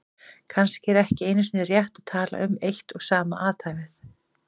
Kannski er ekki einu sinni rétt að tala um eitt og sama athæfið.